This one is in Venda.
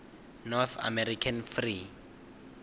north american free